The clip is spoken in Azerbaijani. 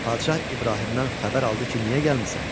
Padşah İbrahimdən xəbər aldı ki, niyə gəlmisən?